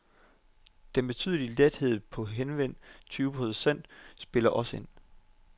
Den betydelige ledighed på henved tyve procent spiller også ind.